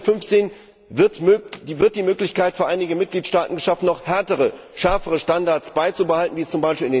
In Artikel 15 wird die Möglichkeit für einige Mitgliedstaaten geschaffen, noch härtere, schärfere Standards beizubehalten, wie es z.